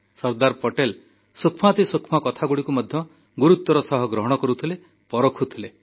ସର୍ଦ୍ଦାର ପଟେଲ ସୂକ୍ଷ୍ମାତିସୂକ୍ଷ୍ମ କଥାଗୁଡ଼ିକୁ ମଧ୍ୟ ଗୁରୁତ୍ୱର ସହ ଗ୍ରହଣ କରୁଥିଲେ ପରଖୁଥିଲେ